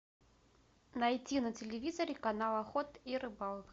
найти на телевизоре канал охота и рыбалка